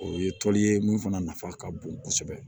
O ye tɔn ye mun fana nafa ka bon kosɛbɛ